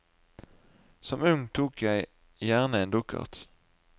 Som ung tok jeg gjerne en dukkert.